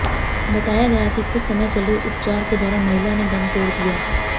बताया गया कि कुछ समय चले उपचार के दौरान महिला ने दम तोड़ दिया